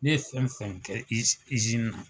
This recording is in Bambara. Ne ye fɛn fɛn kɛ Izini na.